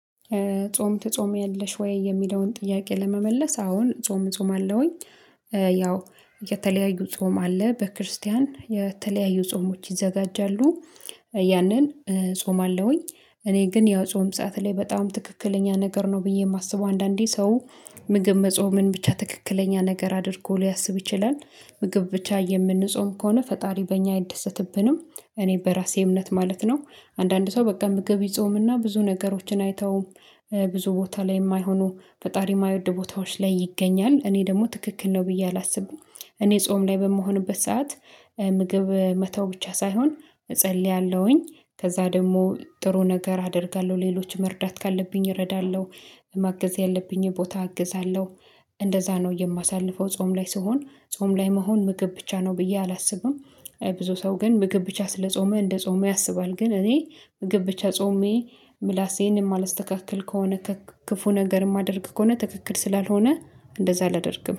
ጾም ተጾሚያለሽ ወይ የሚለውን ጥያቄ ለመመለስ አሁን ጾም ጾም አለውኝ። ያው የተለያዩ ጾም አለ በክርስቲያን የተለያዩ ጾሞች ይዘጋጃሉ። ያንን እጾማለው እኔ ግን ያው ጾም ሰዓት ላይ በጣም ትክክለኛ ነገር ነው ብዬ የማስበው። አንዳንዴ ሰው ምግብ መጾምን ብቻ ትክክለኛ ነገር አድርጎ ሊያስብ ይችላል ምግብ ብቻ የምንጾም ከሆነ ፈጣሪ በእኛ አይደሰትብንም። እኔ በራሴ እምነት ማለት ነው። አንዳንድ ሰው በቃ እምግብ ጾምና ብዙ ነገሮችን አይተውም። ብዙ ቦታ ላይ የማይሆኑ ፈጣሪ የማይወድ ቦታዎች ላይ ይገኛል እኔ ደግሞ ትክክል ነው ብዬ አላስብም። እኔ ጾም ላይ በምሆንበት ሰዓት ምግብ መተው ብቻ ሳይሆን እጸልያለሁኝ ከዛ ደግሞ ጥሩ ነገር አደርጋለሁ ሌሎች መርዳት ካለብኝ እረዳለሁ። ማገዝ ያለብኝ ቦታ እግዛለሁ። እንደዛ ነው የማሳልፈው ጾም ላይ ስሆን ጾም ላይ መሆን ምግብ ብቻ ነው ብዬ አላስብም። ብዙ ሰው ግን ምግብ ብቻ ስለጾመ እንደጾመ ያስባል። ግን እኔ ምግብ ብቻ ጾሜ ምላሴን የማላስተካክል ከሆነ ክፉ ነገር የማደርግ ከሆነ ትክክል ስላልሆነ እንደዛ አላደርግም